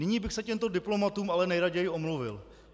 Nyní bych se těmto diplomatům ale nejraději omluvil.